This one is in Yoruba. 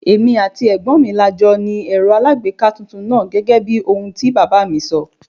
Èmi àti ẹ̀gbọ́n mi la jọ ni Ẹ̀rọ alagbeeka tuntun náà gẹ́gẹ́bí ohun tí bàbá mi sọ.